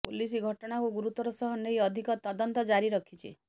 police ଘଟଣାକୁ ଗୁରୁତର ସହ ନେଇ ଅଧିକ ତଦନ୍ତ ଜାରି ରଖିଛି